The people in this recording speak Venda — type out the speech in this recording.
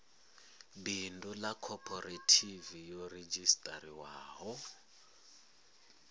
bindu ḽa khophorethivi yo redzhisiṱarisiwaho